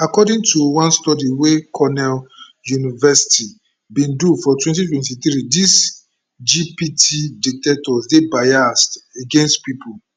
according to one study weycornell university bin do for 2023dis gpt detectors dey biased against pipo